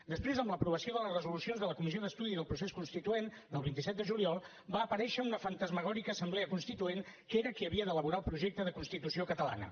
després amb l’aprovació de les resolucions de la comissió d’estudi del procés constituent del vint set de juliol va aparèixer una fantasmagòrica assemblea constituent que era qui havia d’elaborar el projecte de constitució catalana